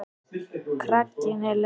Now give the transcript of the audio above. Kraginn er laus.